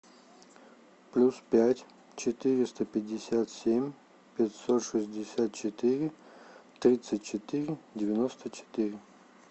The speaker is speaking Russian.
плюс пять четыреста пятьдесят семь пятьсот шестьдесят четыре тридцать четыре девяносто четыре